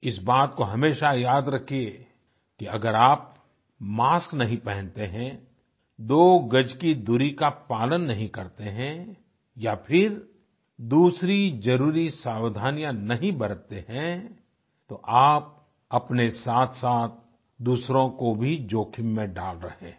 इस बात को हमेशा याद रखिए कि अगर आप मास्क नहीं पहनते हैं दो गज की दूरी का पालन नहीं करते हैं या फिर दूसरी जरुरी सावधानियां नहीं बरतते हैं तो आप अपने साथसाथ दूसरों को भी जोखिम में डाल रहे हैं